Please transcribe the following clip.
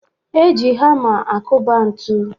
A na-eji hama akụba ntụ.